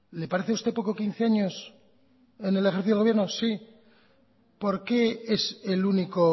le parece a usted poco quince años en el ejercicio del gobierno sí por qué es el único